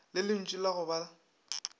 ya lentšu la go ba